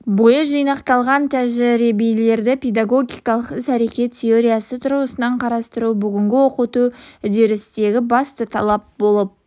бойы жинақталған тәжірибелерді педагогикалық іс әрекет теориясы тұрғысынан қарастыру бүгінгі оқыту үдерісіндегі басты талап болып